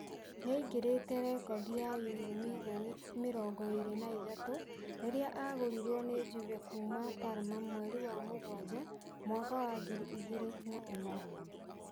Niaingĩrite rekondi ya yuro mirioni mĩrongo ĩĩrĩ na ithatũ rĩrĩa agũrirwe ni Juve kuuma Parma mweri wa mũgwaja mwaka wa ngiri igĩri na ĩmwe